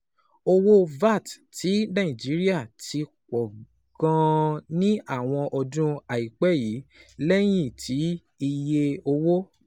Owó VAT ti Nàìjíríà ti pọ̀ gan-an ní àwọn ọdún àìpẹ́ yìí, lẹ́yìn tí iye owó